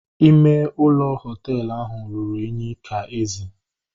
Ime ụlọ hoteelu ahụ ruru unyi ka ezi